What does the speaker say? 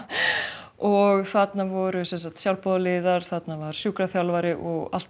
og þarna voru sjálfboðaliðar þarna var sjúkraþjálfari og alltaf